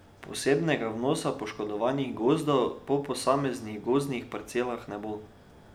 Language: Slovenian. Posebnega vnosa poškodovanosti gozdov po posameznih gozdnih parcelah ne bo.